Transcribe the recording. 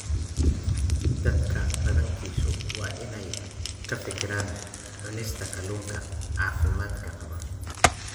Dadka badankiisu waa inay ka fikiraan cunista kalluunka caafimaadka qaba.